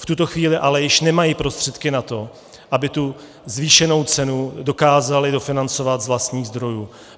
V tuto chvíli ale již nemají prostředky na to, aby tu zvýšenou cenu dokázali dofinancovat z vlastních zdrojů.